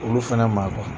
Olu fɛnɛ ma